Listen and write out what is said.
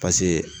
Paseke